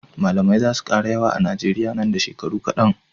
Mallamai zasu kara yawa a nigeria nan da shekaru kadan